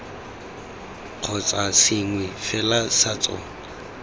kgotsa sengwe fela sa tsona